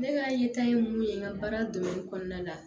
Ne ka yeta ye mun ye n ka baara kɔnɔna la